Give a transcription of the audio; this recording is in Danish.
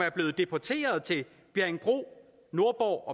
er blevet deporteret til bjerringbro nordborg